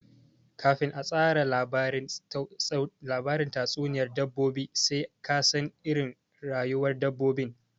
Kafin ka tsara labarin tatsuniyar dabbobi sai ka san iirin rayuwar dabbobin